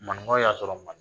Maninkaw y'a sɔrɔ ma